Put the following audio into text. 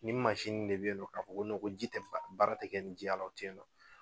Nin mansin de bɛ yen nɔ k'a fɔ ko ko ji tɛ fa, baara tɛ kɛ ni ji o tɛ yen nɔ.